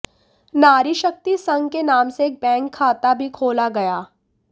नारी शक्ति संघ के नाम से एक बैंक खता भी खोला गया